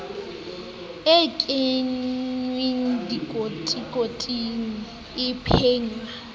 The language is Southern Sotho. e kenngwang dikotikoting e pakwang